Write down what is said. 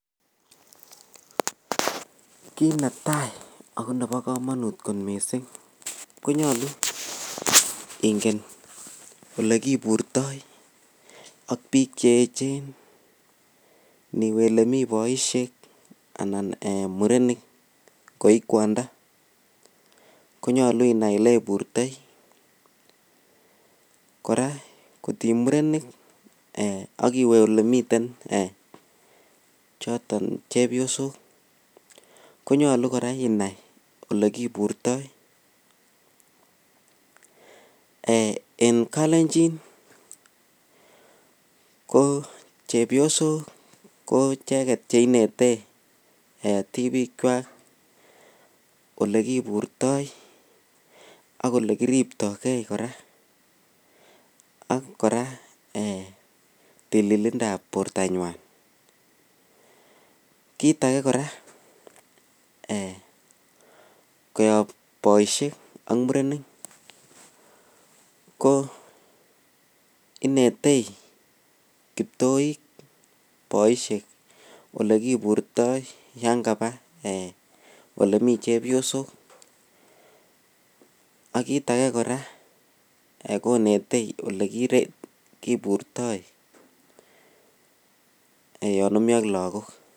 Kiit netai ako nebo komonut kot missing, koyolu ingen olekiburtoi ak biik cheechen, niwe olemi boisyek anan murenik koi kwondo ko nyolu inai oleiburtoi, kora ng'ot ii murenik ak iwe olemiten choton chebyosok konyolu inai olekiburtoi, en kalenjin ko chebyosok ko icheget cheinete tibikwak olekiburto ak olekiriptogee kora, ak kora tililindab bortanywan, kiit age kora koyob boisiek ak murenik ko inetei kiptoik boisiek olekiburtoi yan kabaa olemii chepyosok, ak kiit age kora konetei olekiburto yon omi ak lagok.